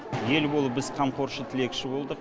ел болып біз қамқоршы тілекші болдық